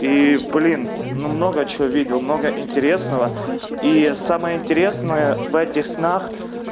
и блин ну много чего видел много интересного и самое интересное в этих снах